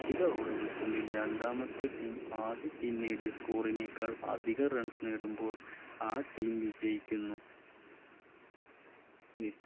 നിശ്ചിത Over കൾക്കുള്ളിൽ രണ്ടാമത്തെ Team ആദ്യ Team നേടിയ സ്കൂളിനേക്കാൾ അധിക Runs നേടുമ്പോൾ ആ Team വിജയിക്കുന്നു